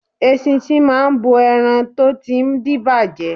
Eṣinṣin máa bo ẹran tó ti ń díbàjẹ́.